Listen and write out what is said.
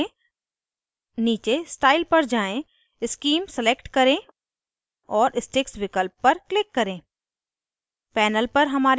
popअप menu खोलें नीचे style पर जाएँ scheme select करें और sticks विकल्प पर click करें